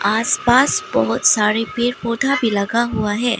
आस पास बहुत सारे पेड़ पौधा भी लगा हुआ है।